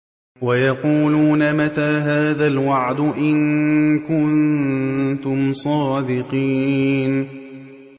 وَيَقُولُونَ مَتَىٰ هَٰذَا الْوَعْدُ إِن كُنتُمْ صَادِقِينَ